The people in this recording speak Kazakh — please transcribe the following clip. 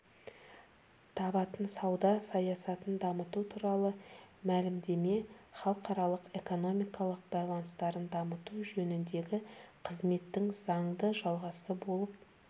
табатын сауда саясатын дамыту туралы мәлімдеме халықаралық экономикалық байланыстарын дамыту жөніндегі қызметтің заңды жалғасы болып